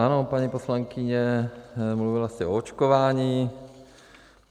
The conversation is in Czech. Ano, paní poslankyně, mluvila jste o očkování.